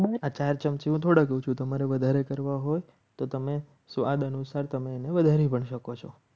તમારે વધારે કરવા હોય તો તમે સ્વાદ અનુસાર તમે એને વધારે નહિ પણ શકો છો.